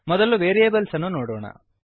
ಮೊದಲು ವೇರಿಯೇಬಲ್ಸ್ ಅನ್ನು ನೋಡೋಣ